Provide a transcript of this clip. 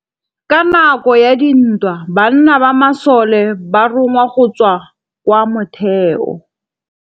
Ka nakô ya dintwa banna ba masole ba rongwa go tswa kwa mothêô.